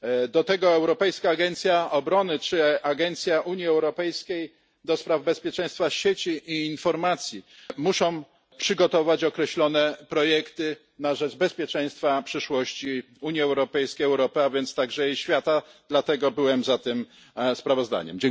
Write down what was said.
Do tego Europejska Agencja Obrony czy Agencja Unii Europejskiej do spraw Bezpieczeństwa Sieci i Informacji muszą przygotować określone projekty na rzecz bezpieczeństwa przyszłości Unii Europejskiej, Europy, a więc także świata, dlatego byłem za tym sprawozdaniem.